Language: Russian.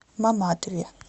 маматове